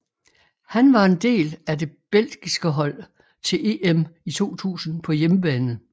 Han var en del af det belgiske hold til EM i 2000 på hjemmebane